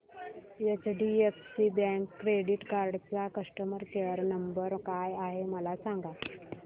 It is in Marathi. एचडीएफसी बँक क्रेडीट कार्ड चा कस्टमर केयर नंबर काय आहे मला सांगा